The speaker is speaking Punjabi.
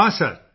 ਹਾਂ ਸਿਰ